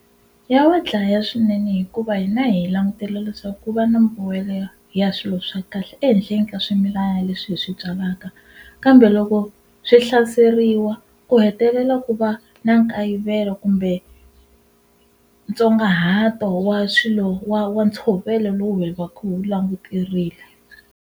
Ya wa dlaya swinene hikuva hina hi langutele leswaku ku va na mbuyelo ya ya swilo swa kahle ehenhleni ka swimilana leswi hi swi byalaka kambe loko swi hlaseriwa ku hetelela ku va na nkayivelo kumbe ntsongahato wa swilo wa wa ntshovelo lowu hi va ku hi wu languterile.